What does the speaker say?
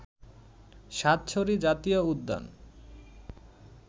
সাতছড়ি জাতীয় উদ্যান